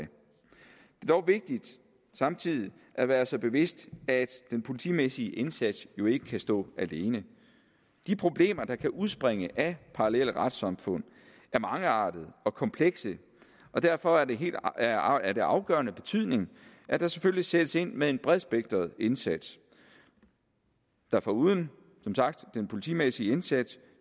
dog vigtigt samtidig at være sig bevidst at den politimæssige indsats jo ikke kan stå alene de problemer der kan udspringe af parallelle retssamfund er mangeartede og komplekse og derfor er det af afgørende betydning at der selvfølgelig sættes ind med en bredspektret indsats der foruden som sagt den politimæssige indsats